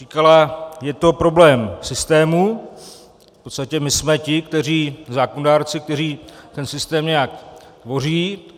Říkala: Je to problém systému, v podstatě my jsme ti zákonodárci, kteří ten systém nějak tvoří.